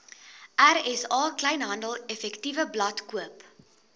rsa kleinhandeleffektewebblad koop